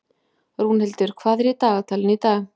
Rúnhildur, hvað er í dagatalinu í dag?